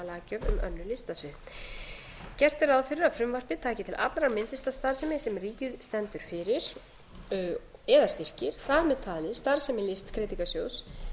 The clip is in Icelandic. um önnur listasvið gert er ráð fyrir að frumvarpið taki til allrar myndlistarstarfsemi sem ríkið stendur fyrir eða styrkir þar með talið starfsemi listskreytingasjóðs